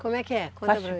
Como é que é?